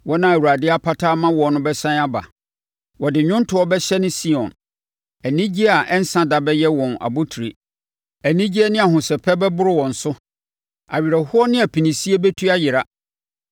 Wɔn a Awurade apata ama wɔn bɛsane aba. Wɔde nnwontoɔ bɛhyɛne Sion; anigyeɛ a ɛnsa da bɛyɛ wɔn abotire, anigyeɛ ne ahosɛpɛ bɛboro wɔn so, awerɛhoɔ ne apinisie bɛtu ayera.